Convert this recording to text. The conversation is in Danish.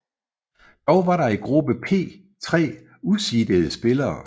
Dog var der i gruppe P tre useedede spillere